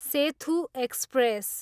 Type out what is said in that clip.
Sethu express